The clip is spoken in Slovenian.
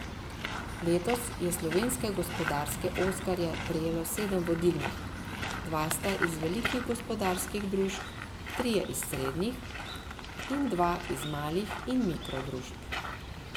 Letos je slovenske gospodarske oskarje prejelo sedem vodilnih, dva sta iz velikih gospodarskih družb, trije iz srednjih in dva iz malih in mikro družb.